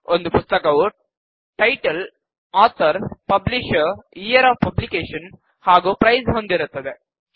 ಒಂದು ಪುಸ್ತಕವು title author publisher year of publication ಹಾಗೂ ಪ್ರೈಸ್ ಹೊಂದಿರುತ್ತದೆ